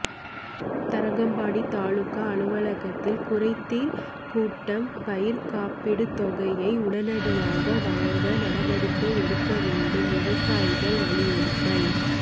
தரங்கம்பாடி தாலுகா அலுவலகத்தில் குறைதீர் கூட்டம் பயிர் காப்பீட்டு தொகையை உடனடியாக வழங்க நடவடிக்கை எடுக்க வேண்டும் விவசாயிகள் வலியுறுத்தல்